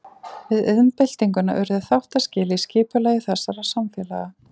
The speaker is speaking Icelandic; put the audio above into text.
Við iðnbyltinguna urðu þáttaskil í skipulagi þessara samfélaga.